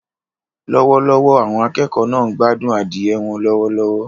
Lọ́wọ́lọ́wọ́, àwọn akẹ́kọ̀ọ́ náà ń gbádùn adìẹ wọn lọ́wọ́lọ́wọ́.